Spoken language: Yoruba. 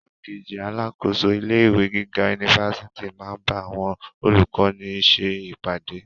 Igbákejì alákòóso ilé ìwé gíga unifásitì n ba awọn olukọni ṣe ipade.